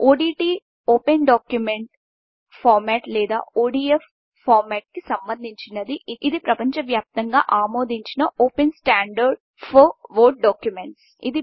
ODT OpenDocument format లేదా ODF ఫార్మెట్కి సంభందించినది ఇది ప్రపంచవ్యాప్తంగా ఆమోదించిన ఓపెన్ స్టాండర్డ్ ఫోర్ వర్డ్ డాక్యుమెంటస్